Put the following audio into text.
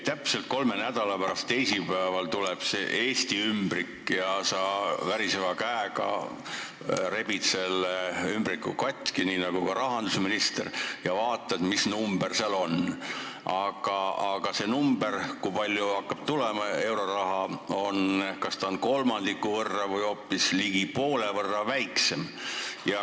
Täpselt kolme nädala pärast teisipäeval tuleb see Eesti ümbrik ja sa rebid väriseva käega selle ümbriku lahti, nii nagu teeb ka rahandusminister, ja vaatad, mis number seal kirjas on, aga see number, kui palju hakkab meile euroraha tulema, on kas kolmandiku või ligi poole võrra väiksem.